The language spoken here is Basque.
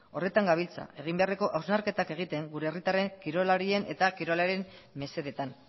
horretan gabiltza egin beharreko hausnarketak egiten gure herritarren kirolarien eta kirolaren mesedetan